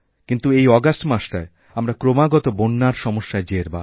কিন্তু এই অগাস্ট মাসটায়আমরা ক্রমাগত বন্যার সমস্যায় জেরবার